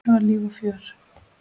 Það var líf og fjör.